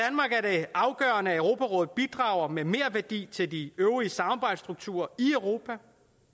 afgørende at europarådet bidrager med merværdi til de øvrige samarbejdsstrukturer i europa